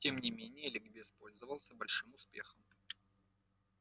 тем не менее ликбез пользовался большим успехом